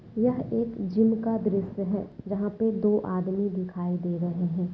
यह एक जिम का दृश्य है जहां पे दो आदमी दिखाई दे रहे है।